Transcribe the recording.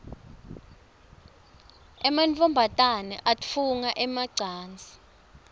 emantfombane atfunga emacansi